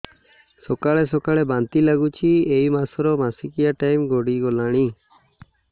ସକାଳେ ସକାଳେ ବାନ୍ତି ଲାଗୁଚି ଏଇ ମାସ ର ମାସିକିଆ ଟାଇମ ଗଡ଼ି ଗଲାଣି